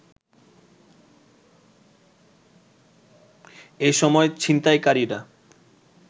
এসময় ছিনতাইকারীরা